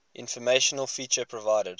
informational feature provided